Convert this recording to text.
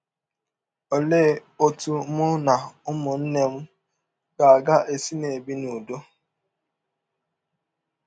Ọlee ọtụ mụ na ụmụnne m ga - ga - esi na - ebi n’ụdọ?